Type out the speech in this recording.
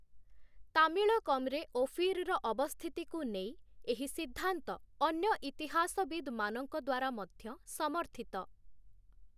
ତାମିଳକମ୍‌ରେ ଓଫିର୍‌ର ଅବସ୍ଥିତିକୁ ନେଇ, ଏହି ସିଦ୍ଧାନ୍ତ ଅନ୍ୟ ଇତିହାସବିଦ୍‌ମାନଙ୍କ ଦ୍ୱାରା ମଧ୍ୟ ସମର୍ଥିତ ।